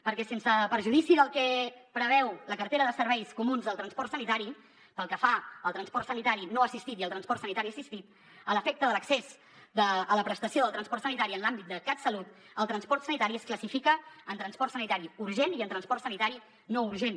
perquè sens perjudici del que preveu la cartera de serveis comuns al transport sanitari pel que fa al transport sanitari no assistit i al transport sanitari assistit a l’efecte de l’accés a la prestació del transport sanitari en l’àmbit del catsalut el transport sanitari es classifica en transport sanitari urgent i en transport sanitari no urgent